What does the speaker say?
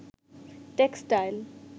textile